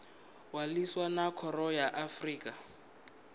ṅwalisa na khoro ya afrika